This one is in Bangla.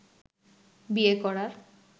বিয়ে করার